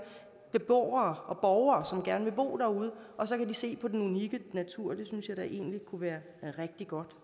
beboere og som gerne vil bo derude og så kan de se på den unikke natur det synes jeg da egentlig kunne være rigtig godt